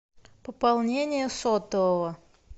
пополнение сотового